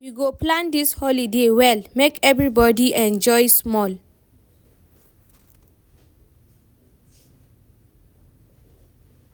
We go plan dis holiday well, make everybodi enjoy small.